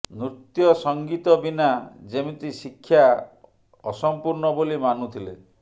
ନୃତ୍ୟ ସଂଗୀତ ବିନା ଯେମିତି ଶିକ୍ଷା ଅସମ୍ପୂର୍ଣ୍ଣ ବୋଲି ମାନୁଥିଲେ